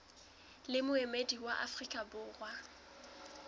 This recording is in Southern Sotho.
le moemedi wa afrika borwa